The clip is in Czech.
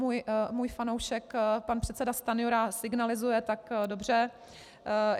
Můj fanoušek pan předseda Stanjura signalizuje, tak dobře.